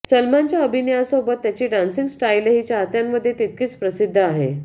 सलमानच्या अभिनयासोबत त्याची डान्सिंग स्टाईलही चाहत्यांमध्ये तितकीच प्रसिद्ध आहे